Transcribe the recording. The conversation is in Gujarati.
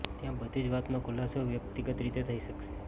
ત્યાં બધી જ વાતનો ખુલાસો વ્યક્તિગત રીતે થઇ શકશે